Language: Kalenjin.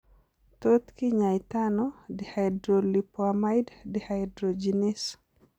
Tot kinyaitaano dihydrolipoamide dehydrogenease?